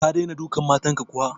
Ka dai dena dukan matan ka ko?